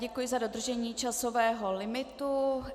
Děkuji za dodržení časového limitu.